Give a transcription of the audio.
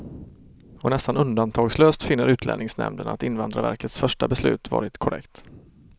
Och nästan undantagslöst finner utlänningsnämnden att invandrarverkets första beslut varit korrekt.